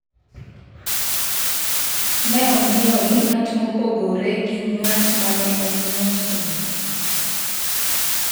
Ne ong’iewo gi ng’at mopogore gi ng’at ma ne ong’iewo simuno.